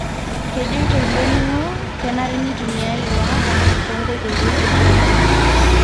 kejoito ilo ningo kenare nitumiae ilo apa tonkoitoi eseriani.